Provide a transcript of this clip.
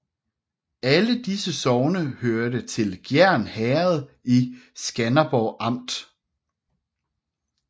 Alle disse sogne hørte til Gjern Herred i Skanderborg Amt